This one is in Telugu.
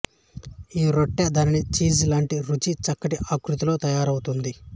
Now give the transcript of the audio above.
ఈ రొట్టె దాని చీజ్ లాంటి రుచి చక్కటి ఆకృతితో తయారౌతుంది